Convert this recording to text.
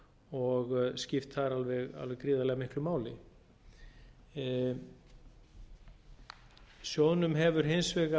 og skipt þar alveg gríðarlega miklu máli sjóðnum hefur hins